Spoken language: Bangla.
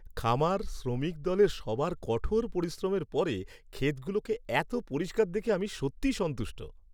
খামার শ্রমিক দলের সবার কঠোর পরিশ্রমের পরে ক্ষেতগুলোকে এত পরিষ্কার দেখে আমি সত্যিই সন্তুষ্ট।